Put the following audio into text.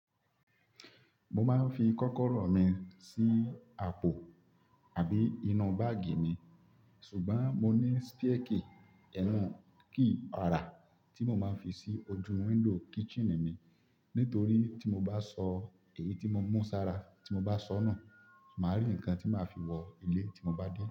Mo máa ń fi kọ́kọ́rọ́ mi sí àpò àbí inú báàgì mi, ṣùgbọ́n mo ní spare key, key ora tí mo máa ń fi sí ojú window kitchen mi. Nítorí tí mo bá sọ èyí tí mo mú sára tí mo bá sọnù, màá rí nǹkan tí màá fi wọ ilé tí mo bá dé.